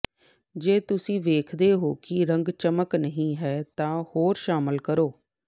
ਜੇ ਤੁਸੀਂ ਵੇਖਦੇ ਹੋ ਕਿ ਰੰਗ ਚਮਕ ਨਹੀਂ ਹੈ ਤਾਂ ਹੋਰ ਸ਼ਾਮਿਲ ਕਰੋ